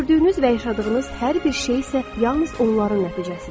Gördüyünüz və yaşadığınız hər bir şey isə yalnız onların nəticəsidir.